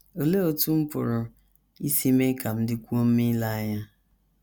Olee Otú M Pụrụ Isi Mee Ka M Dịkwuo Mma Ile Anya?